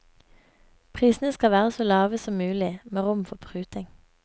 Prisene skal være så lave som mulig, med rom for pruting.